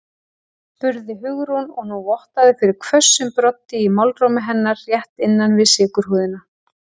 spurði Hugrún og nú vottaði fyrir hvössum broddi í málrómi hennar, rétt innan við sykurhúðina.